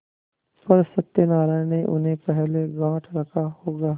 पर सत्यनारायण ने उन्हें पहले गॉँठ रखा होगा